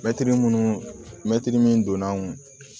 Mɛtiri munnu mɛtiri min donn'an kun